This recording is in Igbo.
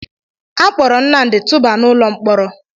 A kpọọrọ Nnamdị tụbaa n'ụlọ mkpọrọ